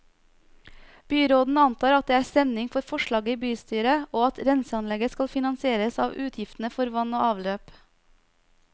Byråden antar at det er stemning for forslaget i bystyret, og at renseanlegget skal finansieres av avgiftene for vann og avløp.